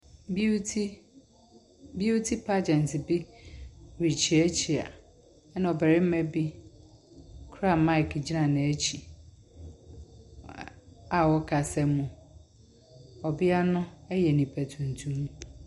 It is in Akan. Beauty, beauty pagyɛnt rekyeakyea na ɔbarima bi a okura mic gyina n'akyi a ɔfreka mu. Ɔbea no yɛ nipa tuntum.